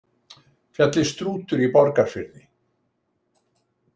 Fjallið Strútur í Borgarfirði.